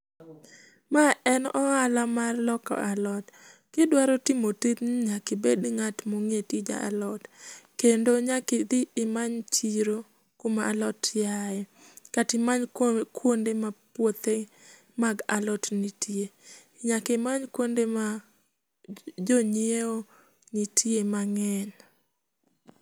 Ma en ohala mar loko alot. Kidwaro timo tijni nyaka ibed ngatma onge tij alot kendo nyaka idhi imany chiro kama alot aye kata imanya kuonde ma puothe alot nitie, nyaka imany kuonde ma jonyiewo nitie mangeny